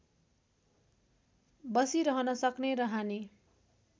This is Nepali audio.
बसिरहन सक्ने र हानि